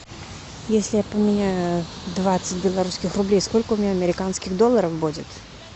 если я поменяю двадцать белорусских рублей сколько у меня американских долларов будет